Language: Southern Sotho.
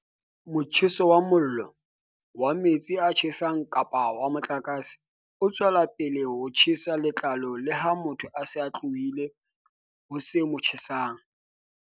"Motjheso wa mollo, wa metsi a tjhesang kapa wa motlakase o tswela pele ho tjhesa letlalo leha motho a se a tlohile ho se mo tjhesang."